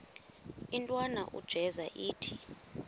intwana unjeza ithi